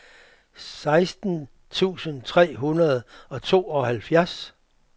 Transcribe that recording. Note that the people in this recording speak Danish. seksten tusind tre hundrede og tooghalvfjerds